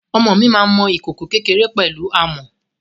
Ọmọ mi máa mọ ìkòkò kékéré pẹ̀lú amọ̀.